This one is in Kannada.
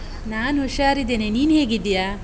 ನಾನ್ ಹುಷಾರಿದ್ದೇನೆ. ನೀನು ಹೇಗಿದ್ದೀಯಾ?